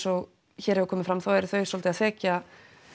og hér hefur komið fram þá eru þau svolítið að þekja